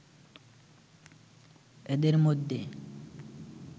এদের মধ্যে